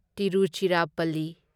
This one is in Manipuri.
ꯇꯤꯔꯨꯆꯤꯔꯥꯞꯄꯜꯂꯤ